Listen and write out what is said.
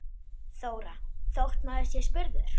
Þóra: Þótt maður sé spurður?